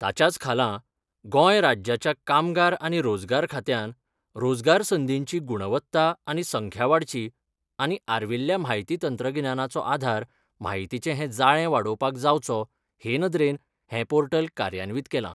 ताच्याच खाला गोंय राज्याच्या कामगार आनी रोजगार खात्यांन रोजगार संदींची गुणवत्ता आनी संख्या वाडची आनी आर्विल्ल्या म्हायती तंत्रगिन्यानाचो आधार माहितीचें हें जाळें वाडोवपाक जावचो हे नदरेन हें पोर्टल कार्यान्वीत केलां.